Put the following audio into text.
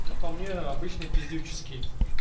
как по мне обычный пиздюческий